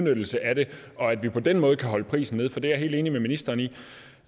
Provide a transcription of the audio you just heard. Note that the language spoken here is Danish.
udnyttelse af det og at vi på den måde kan holde prisen nede for det er jeg helt enig med ministeren i